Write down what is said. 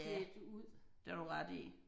Ja det har du ret i